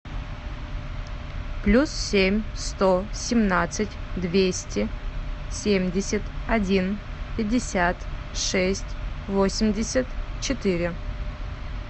плюс семь сто семнадцать двести семьдесят один пятьдесят шесть восемьдесят четыре